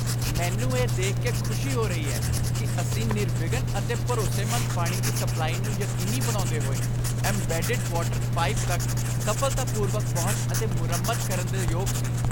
ਮੈਨੂੰ ਇਹ ਦੇਖ ਕੇ ਖੁਸ਼ੀ ਹੋ ਰਹੀ ਹੈ ਕਿ ਅਸੀਂ ਨਿਰਵਿਘਨ ਅਤੇ ਭਰੋਸੇਮੰਦ ਪਾਣੀ ਦੀ ਸਪਲਾਈ ਨੂੰ ਯਕੀਨੀ ਬਣਾਉਂਦੇ ਹੋਏ, ਏਮਬੈਡਡ ਵਾਟਰ ਪਾਈਪ ਤੱਕ ਸਫ਼ਲਤਾਪੂਰਵਕ ਪਹੁੰਚ ਅਤੇ ਮੁਰੰਮਤ ਕਰਨ ਦੇ ਯੋਗ ਸੀ।